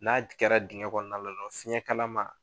N'a kɛra dingɛn kɔnɔ na la dɔrɔn fiɲɛ kalama